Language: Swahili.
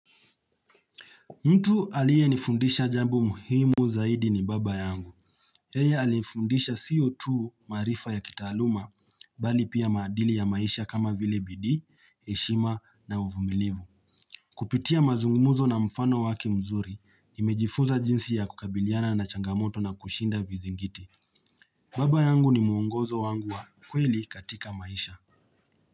Mtu aliye nifundisha jambo muhimu zaidi ni baba yangu. Yeye alifundisha sio tu maarifa ya kitaaluma, bali pia maadili ya maisha kama vile bidii, heshima na uvumilivu. Kupitia mazungumuzo na mfano wake mzuri, nimejifuza jinsi ya kukabiliana na changamoto na kushinda vizingiti. Baba yangu ni muongozo wangu wa kweli katika maisha.